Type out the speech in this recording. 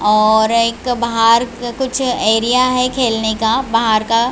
और एक बाहर कुछ एरिया है खेलने का बाहर का--